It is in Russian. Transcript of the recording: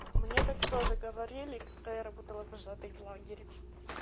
мне так тоже говорили когда я работала вожатой в лагере